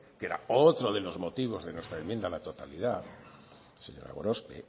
que era otro de los motivos de nuestra enmienda a la totalidad señora gorospe